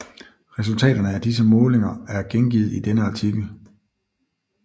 Resultaterne af disse målinger er gengivet i denne artikel